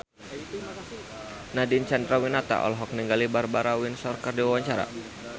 Nadine Chandrawinata olohok ningali Barbara Windsor keur diwawancara